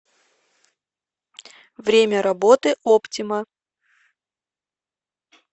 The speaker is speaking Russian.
время работы оптима